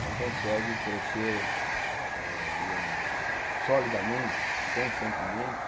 Não consegue crescer eh digamos solidamente e constantemente.